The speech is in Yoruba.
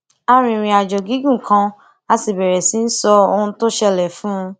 a rìnrìn àjò gígùn kan a sì bèrè sí í sọ ohun tó ṣẹlè fún un